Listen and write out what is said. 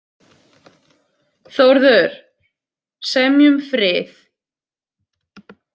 Þórður, semjum frið